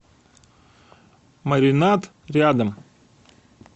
маринад рядом